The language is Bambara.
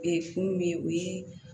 mun bɛ yen o ye